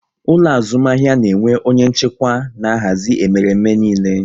Ụlọ azụmahịa na-enwe onye nchịkwa na-ahazi emereme niile